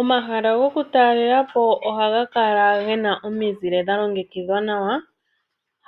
Omahala goku talelapo ohaga kala gena omizile dha longekidhwa nawa.